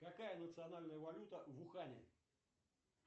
какая национальная валюта в ухане